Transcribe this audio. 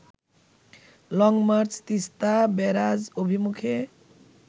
long march Teesta barrage অভিমুখে